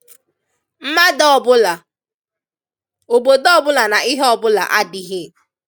Mmadụ ọ̀bụ̀la, obodo ọ̀bụ̀la na ihe ọ̀bụ̀la adị̀ghị.